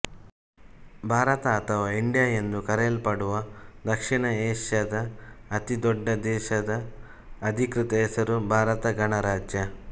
ಭಾರತ ಅಥವಾ ಇಂಡಿಯಾ ಎಂದು ಕರೆಯಲ್ಪಡುವ ದಕ್ಷಿಣ ಏಷ್ಯಾದ ಅತಿ ದೊಡ್ಡ ದೇಶದ ಅಧಿಕೃತ ಹೆಸರು ಭಾರತ ಗಣರಾಜ್ಯ